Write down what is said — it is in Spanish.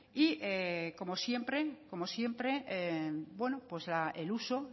y como siempre el uso